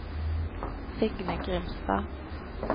Signe Grimstad